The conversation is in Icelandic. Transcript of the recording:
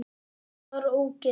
Hann var ógeð!